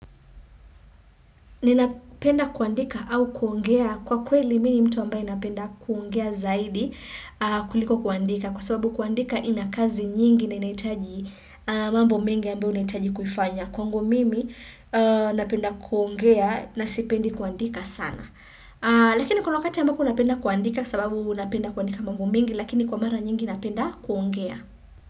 Ninapenda kuandika au kuongea kwa kweli mini mtu ambaye napenda kuongea zaidi kuliko kuandika kwa sababu kuandika inakazi nyingi na inaitaji mambo mingi ambayo inaitaji kufanya. Kwa ngu mimi napenda kuongea na sipendi kuandika sana. Lakini kuna wakati ambapo napenda kuandika sababu napenda kuandika mambo mingi lakini kwa mara nyingi napenda kuongea.